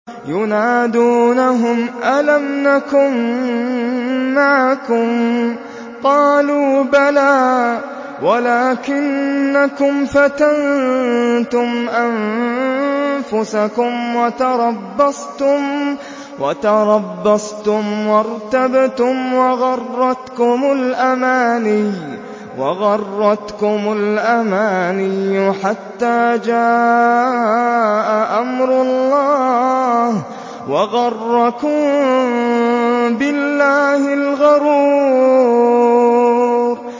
يُنَادُونَهُمْ أَلَمْ نَكُن مَّعَكُمْ ۖ قَالُوا بَلَىٰ وَلَٰكِنَّكُمْ فَتَنتُمْ أَنفُسَكُمْ وَتَرَبَّصْتُمْ وَارْتَبْتُمْ وَغَرَّتْكُمُ الْأَمَانِيُّ حَتَّىٰ جَاءَ أَمْرُ اللَّهِ وَغَرَّكُم بِاللَّهِ الْغَرُورُ